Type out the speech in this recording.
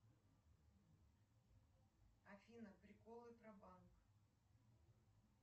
афина приколы про банк